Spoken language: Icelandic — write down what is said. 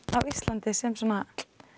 á Íslandi sem svona